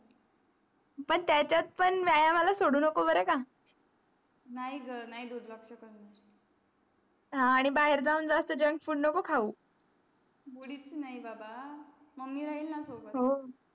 पण त्याच्यात पण व्यायाम आ ला शोधू नको बराक नाही ग नाही दुर्लक्ष करणार हो आंही बाहेर जाऊन जास्त junk food नको खाऊ नाही बाबा मम्मी राहिलनं सोबत